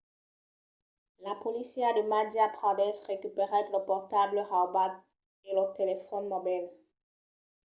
la polícia de madhya pradesh recuperèt lo portable raubat e lo telefòn mobil